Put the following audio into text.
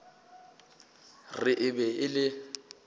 re e be e le